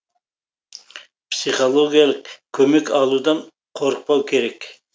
психологиялық көмек алудан қорықпау керек